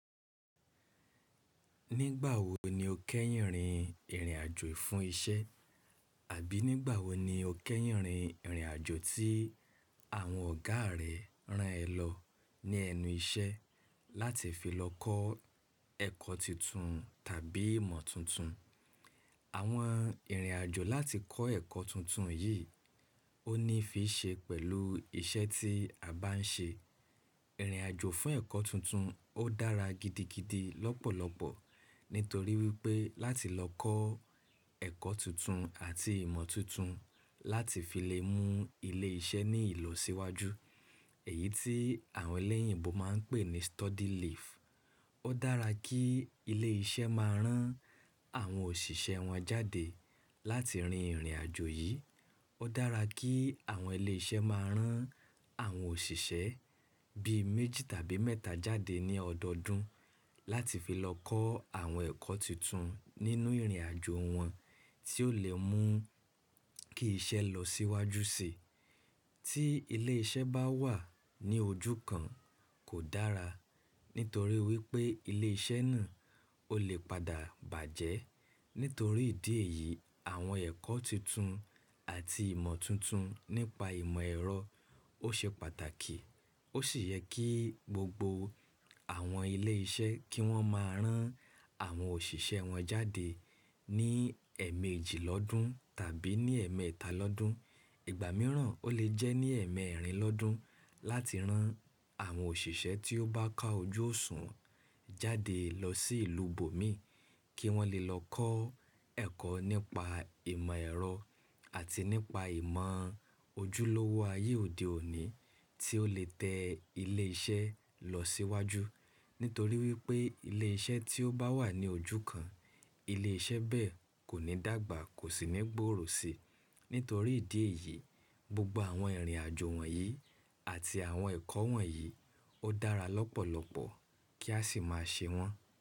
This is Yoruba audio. Nígbà wo ni o kẹ́yìn rin ìrìn àjò fún isẹ́? Àbí nígbà wo ni o kẹ́yìn rin ìrìn àjò tí àwọn ọ̀gá rẹ rán ẹ lọ ní ẹnu isẹ́ láti fi lọ kọ́ ẹ̀kọ́ titun tàbí ìmọ̀ tuntun? Àwọn ìrìn àjò láti kọ́ ẹ̀kọ́ tuntun yìí, ó ní fi ṣe pẹ̀lú iṣẹ́ tí a bá n ṣe. Ìrìn àjò fún ẹ̀kọ́ tuntun ó dára gidigidi lọ́pọ̀lọpọ̀ nítorí wípé láti lọ kọ́ ẹ̀kọ́ tuntun àti ìmọ̀ tuntun láti fi lè mú ilé iṣẹ́ ní ìlọsíwájú. Èyí tí àwọn ẹlẹ́yìnbo máa ń pè ní study leave. Ó dára kí ilé iṣẹ́ máa rán àwọn òṣìṣẹ́ wọn jáde láti rin ìrìn àjò yìí. Ó dára kí àwọn ilé iṣẹ́ máa rán àwọn òṣìṣẹ́ bí méjì tàbí mẹ́ta jáde ní ọdọdún láti fi lọ kọ́ àwọn ẹ̀kọ́ tuntun nínú ìrìn àjò wọn tí ó lè mú kí iṣẹ́ lọ síwájú sí i. Tí ilé iṣẹ́ bá wà ní ojú kan kò dára, nítorí wípé ilé iṣẹ́ náà ó lè padà bàjẹ́. Nítorí ìdí èyí, àwọn ẹ̀kọ́ tuntun àti ìmọ̀ tuntun nípa ìmọ̀ ẹ̀rọ ó ṣe pàtàkì. Ó sì yẹ kí gbogbo àwọn ilé iṣẹ́ kí wọ́n máa rán àwọn òṣìṣẹ́ wọn jáde ní ẹ̀ẹ̀mẹjì lọ́dún tàbí ní ẹ̀ẹ̀mẹ́ta lọ́dún. Ìgbà mìíràn ó lè jẹ́ ní ẹ̀ẹ̀mẹ́rìn lọ́dún láti rán àwọn òṣìṣẹ́ tí ó bá ka ojú òṣùnwon jáde lọ sí ìlú bo mi kí wọ́n lè lọ kọ́ ẹ̀kọ́ nípa ìmọ̀ ẹ̀rọ àti nípa ìmọ̀ ojúlówó ayé òde òní tí ó lè tẹ ilé iṣẹ́ lọ síwájú. Nítorí wípé ilé iṣẹ́ tí ó bá wà ní ojú kan, ilé iṣẹ́ bẹ́ẹ̀ kò ní dàgbà, kò sì ní gbòòrò sí i. Nítorí ìdí èyí, gbogbo àwọn ìrìn àjò wọ̀nyí àti àwọn ẹ̀kọ́ wọ̀nyí ó dára lọ́pọ̀lọpọ̀ kí a sì máa ṣe wọ́n.